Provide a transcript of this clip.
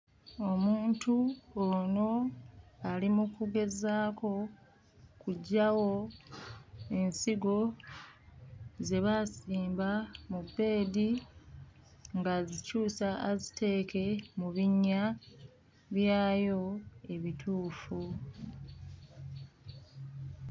Omuntu ono ali mu kugezaako kuggyawo ensigo ze baasimba mu bbeedi ng'azikyusa aziteeke mu binnya byayo ebituufu.